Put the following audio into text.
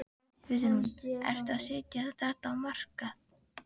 Guðrún: Ertu að setja þetta á markað?